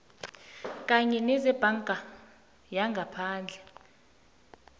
kanye nezebhanka yangaphandle